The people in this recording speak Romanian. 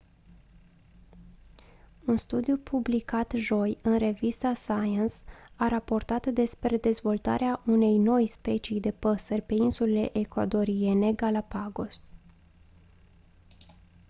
un studiu publicat joi în revista science a raportat despre dezvoltarea unei noi specii de păsări pe insulele ecuadoriene galápagos